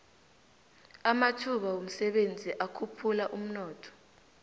amathuba womsebenzi akhuphula umnotho